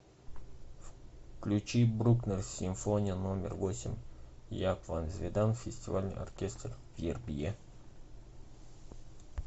включи брукнер симфония номер восемь яап ван зведен фестивальный оркестр вербье